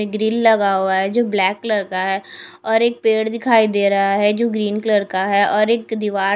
grill लगा हुआ है जो ब्लैक कलर का है और एक पेड़ दिखाई दे रहा है जो ग्रीन कलर का है और एक दीवार --